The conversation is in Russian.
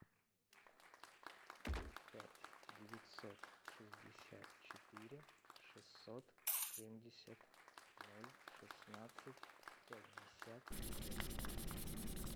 пять девятьсот шестьдесят четыре шестьсот семьдесят ноль шестнадцать пятьдесят семь